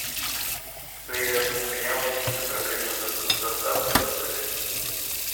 привет у меня возникли проблемы с доставкой в отеле